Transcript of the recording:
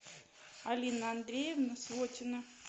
алина андреевна свотина